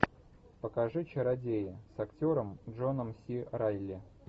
покажи чародеи с актером джоном си райли